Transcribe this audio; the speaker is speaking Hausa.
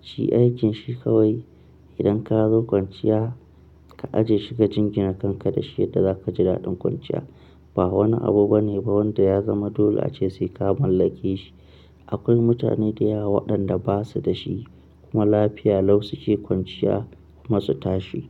Shi aikinshi kawai idan ka zo kwanciya ka ajiye shi ka jingine kanka da shi, yadda zaka ji daɗin kwanciya. Ba wani abu bane ba wanda ya zama dole ace sai ka mallake shi. Akwai mutane da yawa waɗanda ba su da shi kuma lafiya lau suke kwanciya kuma su tashi.